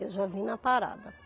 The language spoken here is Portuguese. Eu já vim na parada.